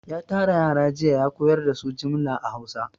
Ya tara yara jiya ya koyar da su jimla a Hausa.